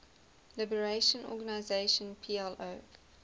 liberation organization plo